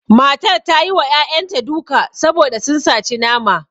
Matar ta yi wa ƴaƴanta duka saboda sun saci nama